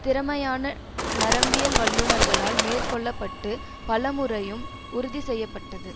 திறமையான நரம்பியில் வல்லுனர்களால் மேற்கொள்ள பட்டு பலமுறையும் உறுதி செய்ய பட்டது